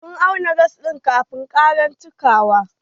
Sun auna gas ɗin kafin ƙara cikawa.